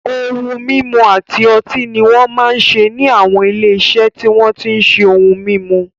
Ohun mímu àti ọtí ni won máa ń ṣe ní àwọn ilé-iṣẹ́ tí wọ́n tí ń ṣe ohun mímu.